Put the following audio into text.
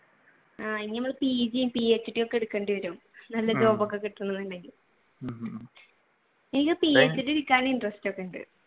ഇനി നമ്മൾ pg ഉം PhD ഉം ഒക്കെ എടുക്കേണ്ടി വരും നല്ല job ഒക്കെ കിട്ടാനൊന്നുണ്ടെങ്കിൽ എനിക്ക് PhD എടുക്കാനൊക്കെ interest ഉണ്ട്